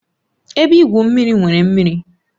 Ebe igwu mmiri nwere mmiri